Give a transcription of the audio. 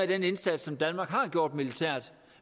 den indsats som danmark har gjort militært